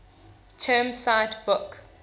term cite book